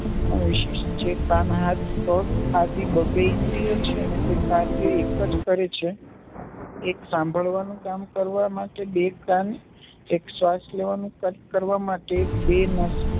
પણ વિશેષ છે. કાન, હાથ, પગ આદિ બબ્બે ઇન્દ્રિયો છે ને તે કાર્ય એક જ કરે છે. એક સાંભળવાનું કામ કરવા માટે બે કાન, એક શ્વાસ લેવાનું કાર્ય કરવા માટે બે નસકોરાં